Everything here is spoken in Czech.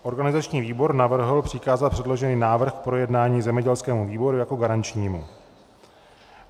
Organizační výbor navrhl přikázat předložený návrh k projednání zemědělskému výboru jako garančnímu.